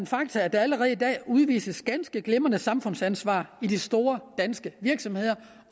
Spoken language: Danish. faktum at der allerede i dag udvises ganske glimrende samfundsansvar i de store danske virksomheder